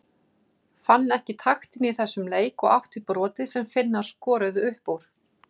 Fann ekki taktinn í þessum leik og átti brotið sem Finnar skoruðu upp úr.